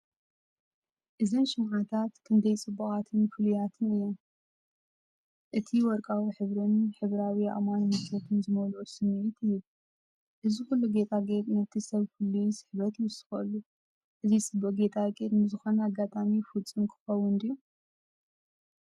እዘን ሽምዓታት ክንደይ ጽቡቓትን ፍሉያትን እየን! እቲ ወርቃዊ ሕብሪን ሕብራዊ ኣእማንን ምቾት ዝመልኦ ስምዒት ይህብ። እዚ ኩሉ ጌጣጌጥ ነቲ ሰብ ፍሉይ ስሕበት ይውስኸሉ። እዚ ጽቡቕ ጌጣጌጥ ንዝኾነ ኣጋጣሚ ፍጹም ክኸውን ድዩ?